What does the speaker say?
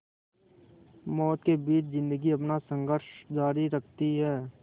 मौत के बीच ज़िंदगी अपना संघर्ष जारी रखती है